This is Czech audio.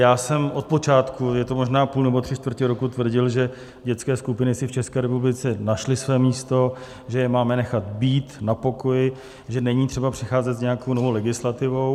Já jsem od počátku, je to možná půl nebo tři čtvrtě roku, tvrdil, že dětské skupiny si v České republice našly své místo, že je máme nechat být na pokoji, že není třeba přicházet s nějakou novou legislativou.